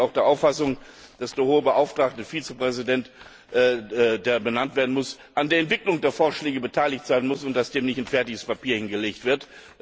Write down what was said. Im Übrigen bin ich auch der Auffassung, dass der Hohe Beauftragte Vizepräsident, der benannt werden muss, an der Entwicklung der Vorschläge beteiligt sein muss und dass dem nicht ein fertiges Papier hingelegt wird.